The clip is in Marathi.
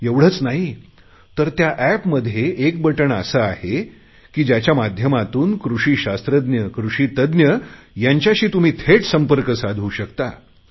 एवढेच नाही तर या एपमध्ये एक बटण असे आहे की त्याच्या माध्यमातून कृषिशास्त्रज्ञ कृषीतज्ञ यांच्याशी तुम्ही थेट संपर्क साधू शकता